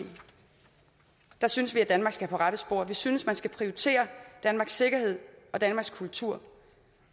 synes vi at danmark skal på rette spor vi synes at man skal prioritere danmarks sikkerhed og danmarks kultur